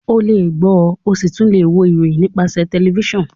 olè gbo o sí tún lẹ wò ìròyìn nípasẹ tẹlifísàn